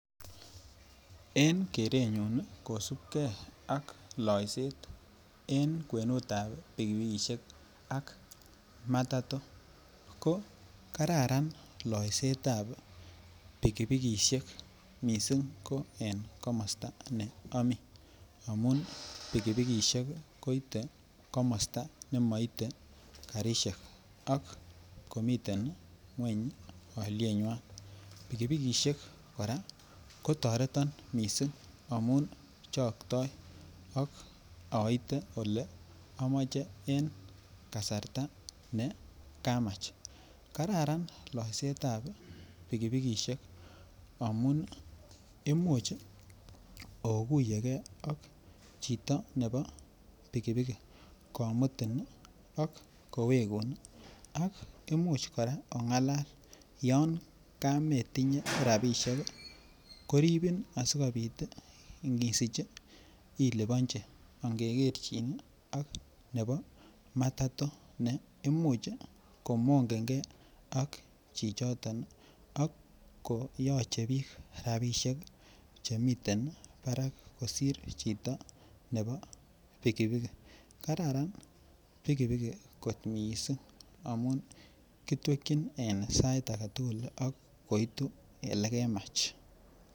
En kerenyun nii kosibgee ak loiset en kwenutab pikipikishek ak matato ko kararan loisetab pikipikishek missing ko en komosto ne omii amun pikipikishek koite komosto nemoite karishek ak komiten ngweny olieywan. Pikipikishek Koraa kotoreton missing' amun chokto ak oite ole omoche en kasarta ne nekamach. Kararan loisetab pikipikishek amun imuchi okuyegee ak chito nebo pikipikit kimuti nii ak koweku ak imuch koraa ongalal yon kometinyee rabishek kii koribun asikopit isichi iliponchi angekerchin nii ak nebo matato ne imuch komongengee ak chichoton Nii ak koyoche bik rabishek chemiten barak kosir chito nebo pikipikit. Kararan pikipikit kot missing' amun kitwekin en sait agetukul ak koitu ilekemach.